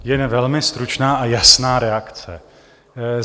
Jen velmi stručná a jasná reakce.